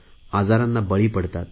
आजारांना बळी पडतात